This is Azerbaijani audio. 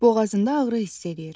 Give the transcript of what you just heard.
Boğazında ağrı hiss eləyir.